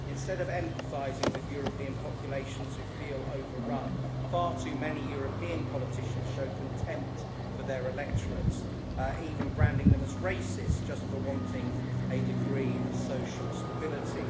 Instead of empathising with European populations who feel overrun, far too many European politicians show contempt for their electorates even branding them as racist just for wanting a degree of social stability.